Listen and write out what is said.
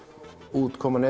útkoman